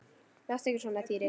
Láttu ekki svona Týri.